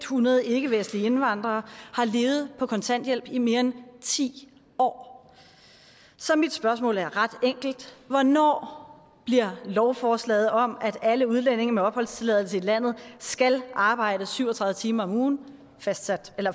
hundrede ikkevestlige indvandrere har levet på kontanthjælp i mere end ti år så mit spørgsmål er ret enkelt hvornår bliver lovforslaget om at alle udlændinge med opholdstilladelse i landet skal arbejde syv og tredive timer om ugen